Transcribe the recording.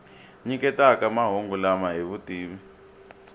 nyiketaka mahungu lama hi vutivi